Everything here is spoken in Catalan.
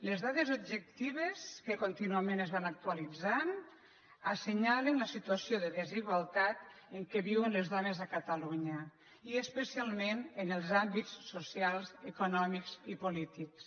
les dades objectives que contínuament es van actualitzant assenyalen la situa·ció de desigualtat en què viuen les dones a catalunya i especialment en els àmbits socials econòmics i polí·tics